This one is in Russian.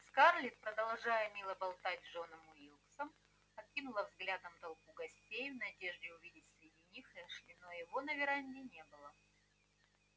скарлетт продолжая мило болтать с джоном уилксом окинула взглядом толпу гостей в надежде увидеть среди них эшли но его на веранде не было